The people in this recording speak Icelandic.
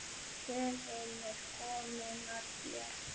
Röðin er komin að þér.